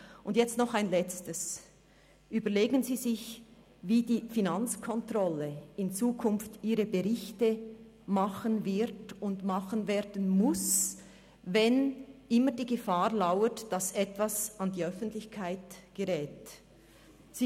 Und jetzt noch ein Letztes: Überlegen Sie sich, wie die Finanzkontrolle in Zukunft ihre Berichte machen wird und machen muss, wenn ständig die Gefahr lauert, dass etwas an die Öffentlichkeit geraten könnte.